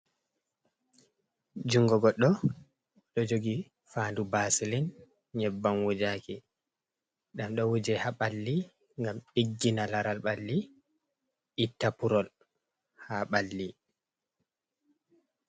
Jungo goɗɗo ɗo jogi fandu vaseline, nyebbam wujaaki. Ɗam ɗo wuje haa ɓalli ngam ɗiggina laral ɓalli, itta purol haa ɓalli.